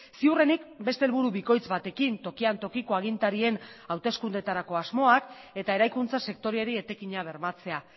ziurrenik beste helburu bikoitz batekin tokian tokiko agintarien hauteskundetarako asmoak eta eraikuntza sektoreari etekina bermatzea